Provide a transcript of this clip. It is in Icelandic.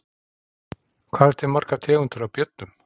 Hvað eru til margar tegundir af björnum?